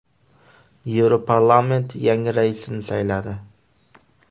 Yevroparlament yangi raisni sayladi.